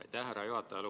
Aitäh, härra juhataja!